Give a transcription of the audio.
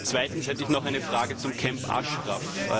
Zweitens hätte ich noch eine Frage zum Camp Ashraf.